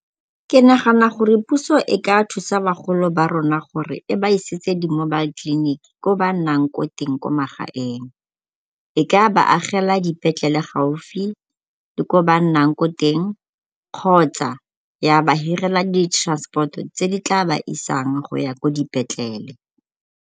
Ke nagana gore puso e ka thusa bagolo ba rona ka gore e ba isetse di-mobile clinic ko ba nnang ko teng ko magaeng. E ka ba agela dipetlele gaufi le ko ba nnang ko teng kgotsa ya ba hirela di-transport-o tse di tla ba isang go ya ko dipetlele.